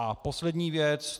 A poslední věc.